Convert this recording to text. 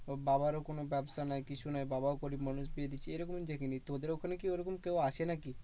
ওর বাবারও কোনো ব্যাবসা নেই কিছু নেই। বাবাও গরিব মানুষ বিয়ে দিচ্ছে, এরকম দেখিনি। তোদের ওখানে কি ওরকম কেউ আছে নাকি?